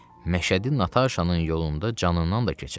Məşədi Nataşanın yolunda canından da keçər.